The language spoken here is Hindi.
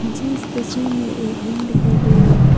मुझे इस तस्वीर में एक रूम दिखाई दे रहा है।